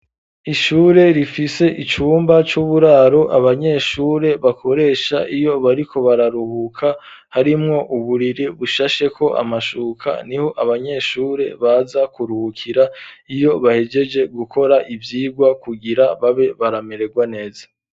Ishure rifise icumba c'uburaro abanyeshure bakoresha iyo bariko bararuhuka ,harimwo uburiri bushasheko amashuka ,niho abanyeshure baza kuruhukira iyo bahegeje gukora ivyigwa kugira babe barameregwa neza.